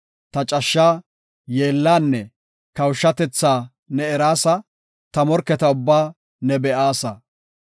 Ta cashshaa, yeellaanne kawushatethaa ne eraasa; ta morketa ubbaa ne be7aasa.